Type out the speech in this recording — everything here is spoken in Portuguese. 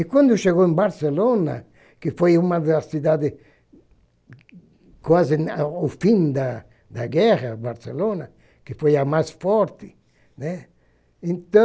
E quando chegou em Barcelona, que foi uma das cidades quase ao fim da da guerra, Barcelona, que foi a mais forte, né, então,